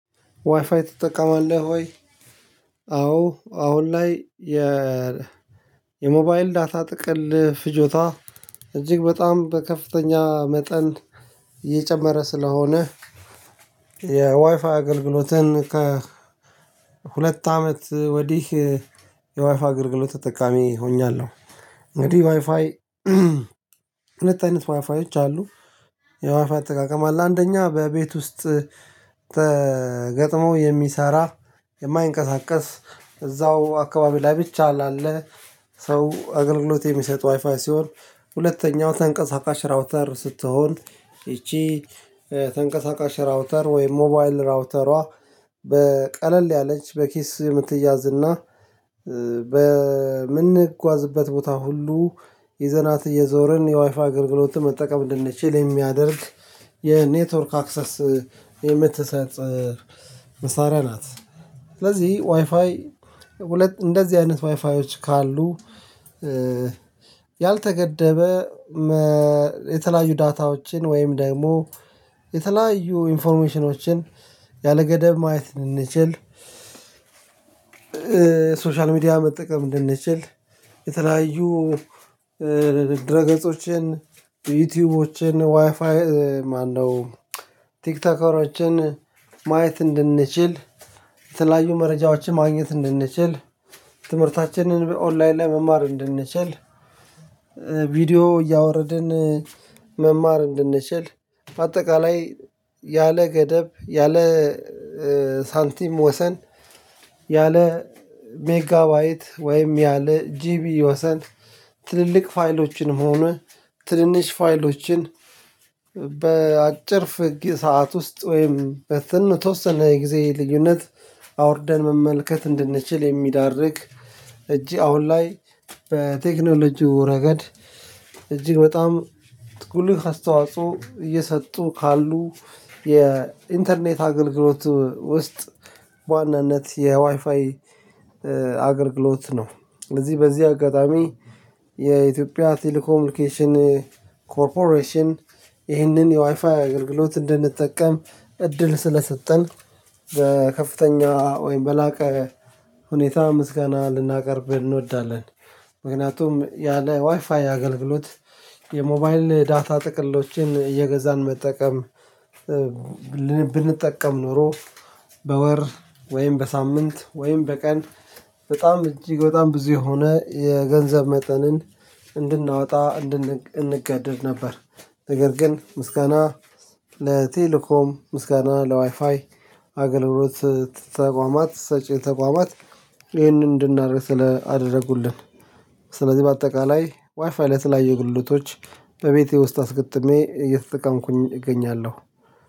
ዋይፋይ ትጠቀማለህ ወይ? አዎ አሁን ላይ የ የሞባይል ዳታ ጥቅል ፍጆታ እጅግ በጣም በከፍተኛ መጠን የጨመረ ስለሆነ የዋይፋይ አገልግሎትን ከ ሁለት አመት ወዲህ የዋይፋይ አገልግሎት ተጠቃሚ ሆኛለሁ። እንግዲህ ዋይፋይ ሁለት አይነት ዋይፋዮች አሉ። የዋይፋይ አጠቃቀም አለ አንደኛ በቤት ውስጥ ተገጥመው የሚሰራ የማይንቀሳቀስ እዛው አካባቢ ላይ ብቻ ላለ ሰው አገልግሎት የሚሰጥ ዋይፋይ ሲሆን ሁለተኛው ተንቀሳቃሽ ራውተር ስትሆን ይቺ ተንቀሳቃሽ ራውተር ወይም ሞባይል ራውተሯ በቀለል ያለች በኪስ የምትያዝ እና በምንጓዝበት ቦታ ሁሉ ይዘናት እየዞርን የዋይፋ አገልግሎት መጠቀም እንድንችል የሚያደርግ የኔትወርክ አክሰስ የምትሰጥ መሳሪያ ናት። ስለዚህ ዋይፋይ እንደዚህ አይነት ዋይፋዮች ካሉ። ያልተገደበ የተለያዩ ዳታዎችን ወይም ደግሞ የተለያዩ ኢንፎርሜሽኖችን ያለገደብ ማየት እንድንችል ሶሻል ሚዲያ መጠቀም እንድንችል የተለያዩ ድረ ገጾችን ዩቲዩቦችን ዋይፋይ ማነው ቲክቶከራችን ማየት እንድንችል የተለያዩ መረጃዎችን ማግኘት እንድንችል ትምህርታችንን በኦንላይን ላይ መማር እንድንችል። ቪዲዮ እያወረድን መማር እንድንችል አጠቃላይ ያለ ገደብ ያለ ሳንቲም ወሰን ያለ ሜጋባይት ወይም ያለ ጂቢ ወሰን ትልልቅ ፋይሎችንም ሆነ ትንንሽ ፋይሎችን በአጭር ፍግ ሰዓት ውስጥ ወይም በስንት የተወሰነ የጊዜ ልዩነት አውርደን መመልከት እንድንችል የሚያዳርግ። እጅ አሁን ላይ በቴክኖሎጂው ረገድ እጅግ በጣም ጉልህ አስተዋጽኦ እየሰጡ ካሉ የኢንተርኔት አገልግሎት ውስጥ በዋናነት የዋይፋይ አገልግሎት ነው። እዚህ በዚህ አጋጣሚ የኢትዮጵያ ቴሌኮሚኒኬሽን ኮርፖሬሽን ይህንን የዋይፋይ አገልግሎት እንድንጠቀም እድል ስለሰጠን በከፍተኛ ወይም በላቀ ሁኔታ ምስጋና ልናቀርብ እንወዳለን። ምክንያቱም ያለ ዋይፋይ አገልግሎት የሞባይል ዳታ ጥቅሎችን እየገዛን መጠቀም ብንጠቀም ኖሮ በወር ወይም በሳምንት ወይም በቀን በጣም እጅግ በጣም ብዙ የሆነ የገንዘብ መጠንን እንድናወጣ እንድንገደድ ነበር። ነገር ግን ምስጋና ለቴሌኮም ምስጋና ለዋይፋይ አገልግሎት ተቋማት ሰጪ ተቋማት ይህንን እንድናደርግ ስላደረጉልን። ስለዚህ በአጠቃላይ ዋይፋይ ለተለያዩ አገልግሎቶች በቤቴ ውስጥ አስገጥሜ እየተጠቀምኩኝ እገኛለሁ።